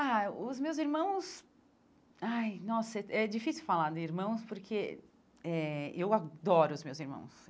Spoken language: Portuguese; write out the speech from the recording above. Ah, os meus irmãos... Ai, nossa, é difícil falar de irmãos porque eh eu adoro os meus irmãos.